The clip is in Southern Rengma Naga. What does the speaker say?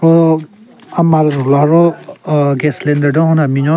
Ro ama le rhu la ro aahh gas cylinder den hon da binyon.